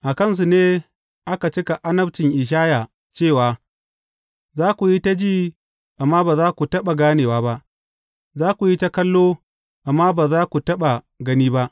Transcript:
A kansu ne aka cika annabcin Ishaya cewa, Za ku yi ta ji amma ba za ku taɓa ganewa ba; za ku yi ta kallo amma ba za ku taɓa gani ba.